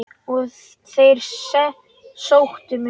Og þeir sóttu mig.